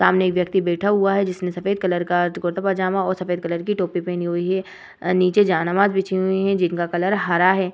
सामने एक व्यक्ति बैठा हुआ है जिसने सफ़ेद कलर का कुरता पजामा और सफ़ेद कलर की टोपी पहनी हुई है नीचे जहानाबाद बिछी हुई है जिनका कलर हरा है ।